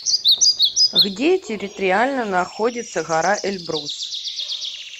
где территориально находится гора эльбрус